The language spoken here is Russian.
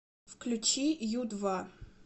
включи ю два